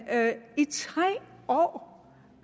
i tre år